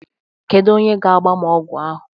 Kedu onye ga-agba m ọgwụ ahụ?